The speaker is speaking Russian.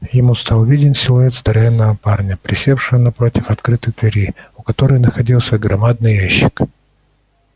ему стал виден силуэт здоровенного парня присевшего напротив открытой двери у которой находился громадный ящик